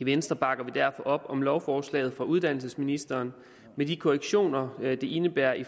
i venstre bakker vi derfor op om lovforslaget fra uddannelsesministeren med de korrektioner det indebærer i